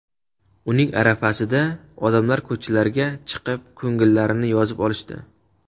Uning arafasida odamlar ko‘chalarga chiqib ko‘ngillarini yozib olishdi.